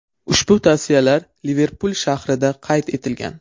Ushbu tasvirlar Liverpul shahrida qayd etilgan.